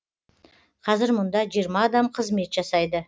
қазір мұнда жиырма адам қызмет жасайды